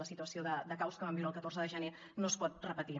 la situació de caos que vam viure el catorze de gener no es pot repetir